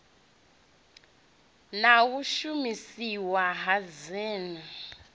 na u shumiseswa ha dzin